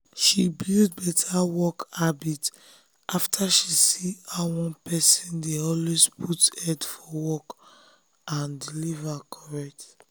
she build better work habit after she see how one person dey always put head for work and deliver correct.